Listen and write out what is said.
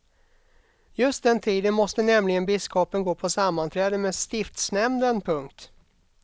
Just den tiden måste nämligen biskopen gå på sammanträde med stiftsnämnden. punkt